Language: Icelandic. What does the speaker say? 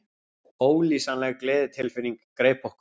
Ólýsanleg gleðitilfinning greip okkur.